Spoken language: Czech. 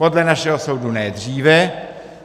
Podle našeho soudu ne dříve.